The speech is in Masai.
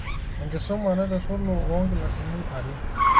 Enkisuma naitushulu oonkilasini are